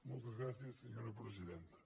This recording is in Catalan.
moltes gràcies senyora presidenta